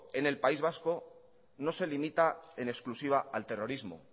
en el país vasco no se limita en exclusiva al terrorismo